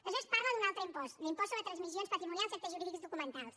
aleshores parla d’un altre impost l’impost sobre transmissions patrimonials i actes jurídics documentats